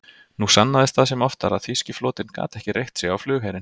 Nú sannaðist það sem oftar, að þýski flotinn gat ekki reitt sig á flugherinn.